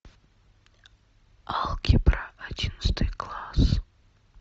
алгебра одиннадцатый класс